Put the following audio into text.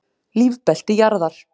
Lífbelti jarðar.